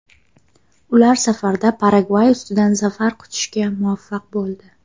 Ular safarda Paragvay ustidan zafar quchishga muvaffaq bo‘ldi.